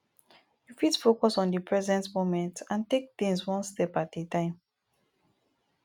you fit focus on di present moment and take tings one step at a time